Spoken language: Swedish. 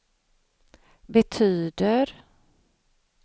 betyder